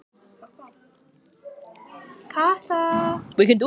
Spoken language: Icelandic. Ég skila henni seinna, hugsaði hún.